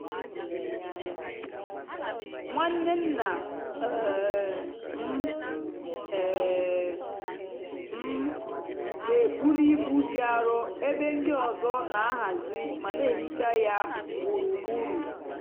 nwanne nna um m um m n'ebuli ibu dị arọ ebe ndị ọzọ n'ahazi ma n'ehicha ya gburugburu.